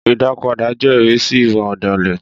Ìdápadà jẹ́ ìrísí ìwà ọ̀dàlẹ̀